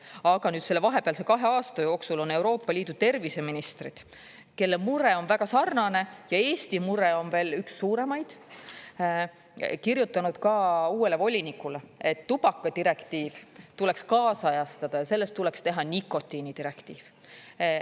Aga nüüd selle vahepealse kahe aasta jooksul on Euroopa Liidu terviseministrid, kelle mure on väga sarnane, ja Eesti mure on veel üks suuremaid, kirjutanud ka uuele volinikule, et tubakadirektiiv tuleks kaasajastada ja sellest tuleks teha nikotiinidirektiiv.